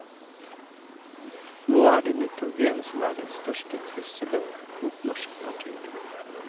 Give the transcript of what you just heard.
Nå er det nitrogen som er den største trusselen mot norsk natur.